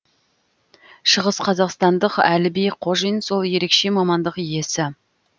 шығыс қазақстандық әліби қожин сол ерекше мамандық иесі